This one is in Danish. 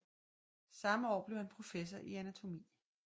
Samme år blev han professor i anatomi